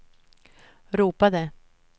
ropade